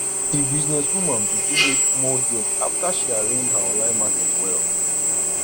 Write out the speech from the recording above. di business woman begin make more gain after she arrange her online market well